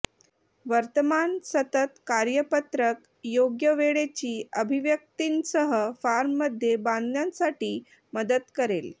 वर्तमान सतत कार्यपत्रक योग्य वेळेची अभिव्यक्तींसह फॉर्ममध्ये बांधण्यासाठी मदत करेल